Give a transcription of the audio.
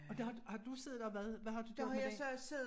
Og der har har du siddet og hvad hvad har du gjort med det?